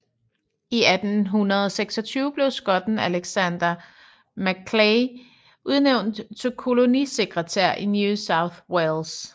I 1826 blev skotten Alexander Macleay udnævnt til kolonisekretær i New South Wales